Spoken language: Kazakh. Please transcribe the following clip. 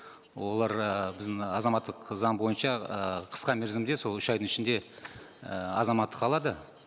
олар ііі біздің азаматтық заң бойынша ііі қысқа мерзімде сол үш айдың ішінде і азаматтық алады